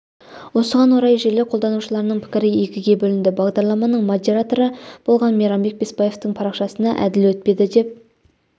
осыған орай желі қолданушыларының пікірі екіге бөлінді бағдарламаның модераторы болған мейрамбек бесбаевтың парақшасына әділ өтпеді деп